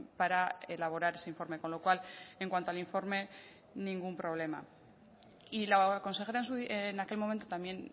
para elaborar ese informe con lo cual en cuanto al informe ningún problema y la consejera en aquel momento también